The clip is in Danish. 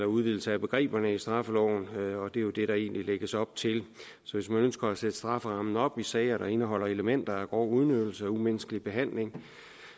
udvidelse af begreberne i straffeloven og det er jo det der egentlig lægges op til så hvis man ønsker at sætte strafferammen op i sager der indeholder elementer af grov udnyttelse og umenneskelig behandling